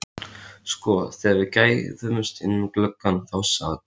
Sko, þegar við gægðumst inn um gluggann þá sat